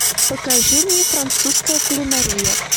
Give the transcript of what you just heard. покажи мне французская кулинария